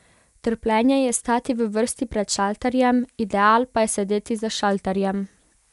Trpljenje je stati v vrsti pred šalterjem, ideal pa je sedeti za šalterjem.